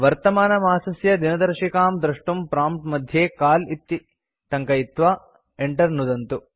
वर्तमानमासस्य दिनदर्शिकां द्रष्टुं प्रॉम्प्ट् मध्ये काल इति टङ्कयित्वा enter नुदन्तु